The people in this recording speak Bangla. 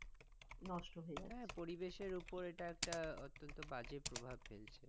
হ্যাঁ পরিবেশের উপর এটা একটা বাজে প্রভাব ফেলছে।